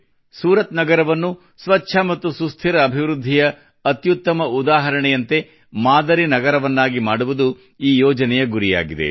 ಸೂರತ್ ನಗರವನ್ನು ಸ್ವಚ್ಛ ಮತ್ತು ಸುಸ್ಥಿರ ಅಭಿವೃದ್ಧಿಯ ಅತ್ಯುತ್ತಮ ಉದಾಹರಣೆಯಂತೆ ಮಾದರಿ ನಗರವನ್ನಾಗಿ ಮಾಡುವುದು ಈ ಯೋಜನೆಯ ಗುರಿಯಾಗಿದೆ